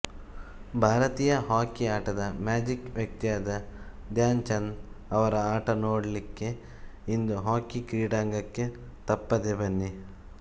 ಭಾರತೀಯ ಹಾಕಿ ಆಟದ ಮ್ಯಾಜಿಕ್ ವ್ಯಕ್ತಿಯಾದ ಧ್ಯಾನ್ ಚಂದ್ ಅವರ ಆಟ ನೋಡಲಿಕ್ಕೆ ಇಂದು ಹಾಕಿ ಕ್ರೀಡಾಂಗಣಕ್ಕೆ ತಪ್ಪದೆ ಬನ್ನಿ